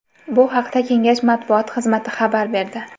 Bu haqda kengash matbuot xizmati xabar berdi.